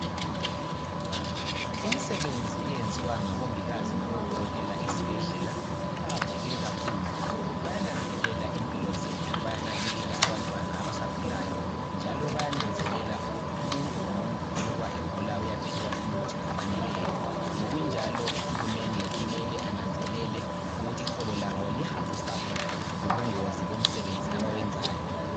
Imisebenzi eyenziwa ngabongikazi labodokotela esibhedlela iqakatheke kakhulu. Bayananzelela impilo zethu bayanakekela abantwana abasakhulayo njalo bayananzelela ukuthi umuntu ngomuntu iloba egula uyaphiwa umuntu ofaneleyo. Ngokunjalo uhulumende kumele ananzelele ukuthi iholo labo lihambisana lobungozi bomsebenzi abawenzayo.